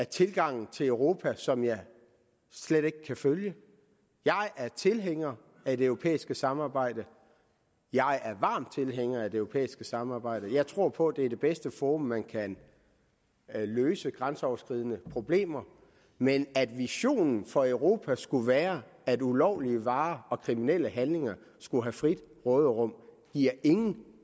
tilgangen til europa som jeg slet ikke kan følge jeg er tilhænger af det europæiske samarbejde jeg er varm tilhænger af det europæiske samarbejde jeg tror på at det er det bedste forum man kan løse grænseoverskridende problemer i men at visionen for europa skulle være at ulovlige varer og kriminelle handlinger skulle have frit råderum giver ingen